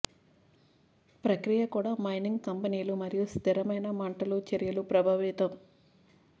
ప్రక్రియ కూడా మైనింగ్ కంపెనీలు మరియు స్థిరమైన మంటలు చర్యలు ప్రభావితం